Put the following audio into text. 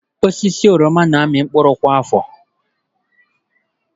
Osisi oroma na-amị mkpụrụ kwa afọ.